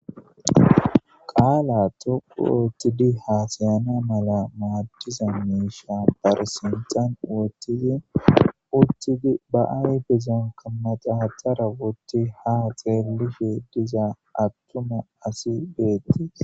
Qalla dhoqu othidi hasayana mala darro mayiketi qassi utidi baa ayifeza denithidi ha xelishe deyiya issi ade